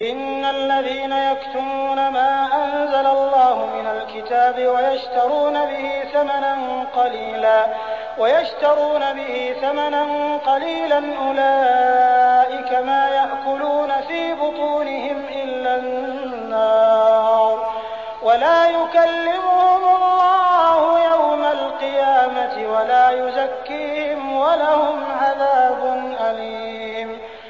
إِنَّ الَّذِينَ يَكْتُمُونَ مَا أَنزَلَ اللَّهُ مِنَ الْكِتَابِ وَيَشْتَرُونَ بِهِ ثَمَنًا قَلِيلًا ۙ أُولَٰئِكَ مَا يَأْكُلُونَ فِي بُطُونِهِمْ إِلَّا النَّارَ وَلَا يُكَلِّمُهُمُ اللَّهُ يَوْمَ الْقِيَامَةِ وَلَا يُزَكِّيهِمْ وَلَهُمْ عَذَابٌ أَلِيمٌ